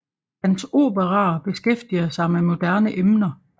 Hans operaer beskæftiger sig med moderne emner